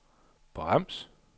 brems